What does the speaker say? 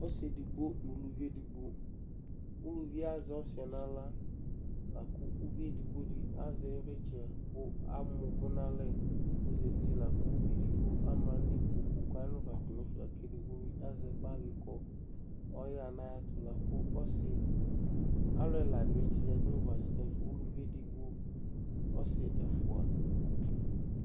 Ɔsɩ edigbo nʋ uluvi edigbo Uluvi yɛ azɛ ɔsɩ yɛ nʋ aɣla la kʋ uvi edigbo dɩ azɛ iɩvlɩtsɛ kʋ ama ʋvʋ nʋ alɛ kʋ ɔzati la kʋ uvi edigbo ama nʋ ikpoku kʋ ɔya nʋ ʋva tʋ nʋ ɛfɛ la kʋ edigbo bɩ azɛ bagɩ kʋ ɔyaɣa nʋ ayɛtʋ kʋ ɔsɩ, alʋ ɛla dɩ tsɩzati nʋ ʋvatsɛ uluvi edigbo ɔsɩ ɛfʋa